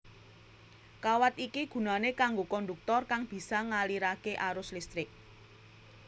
Kawat iki gunané kanggo kondhuktor kang bisa ngaliraké arus listrik